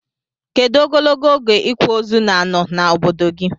Kedu ogologo oge ikwa ozu na ano na obodo gi?